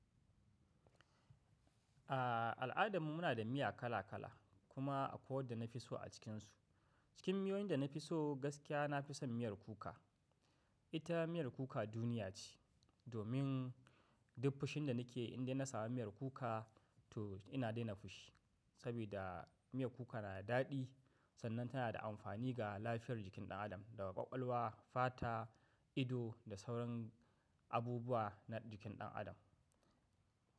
A al'adana muna da miya kala kala kuma akwai wadanda na fi so a cikinsu. Cikin miyoyin da na fi so gaskiya nafi son miyar kuka. Ita miyar kuka duniya ce domin duk fushin da nike in dai na sami miyar kuka to ina daina fushi. Saboda miyar kuka na da daɗi sannan tana da amfani ga lafiyar jikin ɗan adam daga ƙwaƙwalwa, fata, ido da sauran abubuwa na jikin ɗan adam.